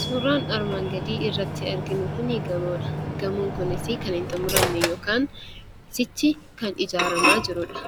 Suuraan armaan gadiirratti arginu kuni gamoodha. Gamoon kunis kan hin xumuramne yookiin sichi kan ijaaramaa jirudha.